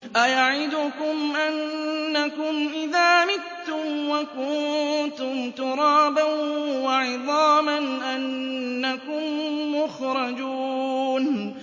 أَيَعِدُكُمْ أَنَّكُمْ إِذَا مِتُّمْ وَكُنتُمْ تُرَابًا وَعِظَامًا أَنَّكُم مُّخْرَجُونَ